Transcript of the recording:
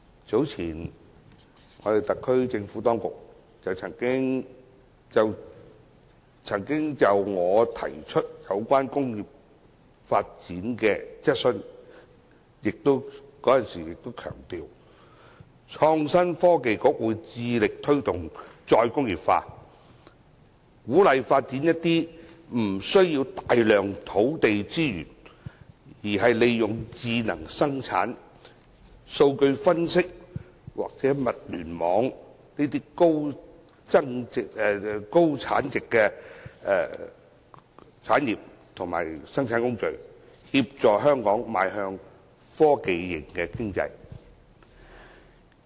早前，特區政府就我提出有關工業發展的質詢，在回答時強調創新及科技局會致力推動"再工業化"，鼓勵發展一些不需要大量土地資源，而是利用智能生產、數據分析或物聯網的高增值產業或生產工序，協助香港邁向科技型經濟。